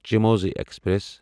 چموزہی express